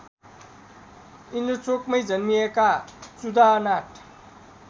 इन्द्रचोकमै जन्मिएका चुडानाथ